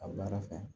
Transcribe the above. A baara fɛ